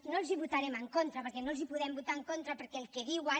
no els hi votarem en contra perquè no els hi podem votar en contra perquè el que diuen